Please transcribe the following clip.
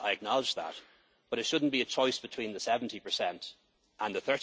Kingdom. I acknowledge that, but it should not be a choice between the 70